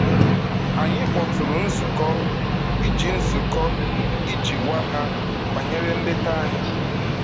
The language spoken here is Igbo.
Anyị kpọtụụrụ nzukọ iji nzukọ iji gwa ha banyere nleta anyị.